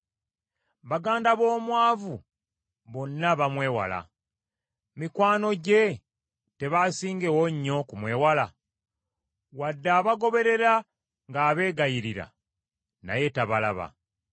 Baganda b’omwavu bonna bamwewala, mikwano gye tebaasingewo nnyo okumwewala? Wadde abagoberera ng’abeegayirira, naye tabalaba.